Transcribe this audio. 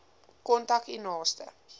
kontak u naaste